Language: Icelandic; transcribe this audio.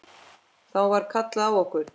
Þá var kallað á okkur.